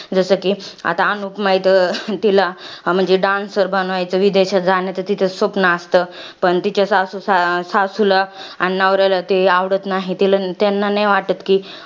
जसं कि, आता अनुपमा, इथं अं तिला, म्हणजे dancer बनायचं, विदेशात जाण्याचं तिचं स्वप्न असतं. पण तिच्या सासू सास सासूला आणि नवऱ्याला ते आवडत नाही. तिला, त्यांना नाही वाटत कि,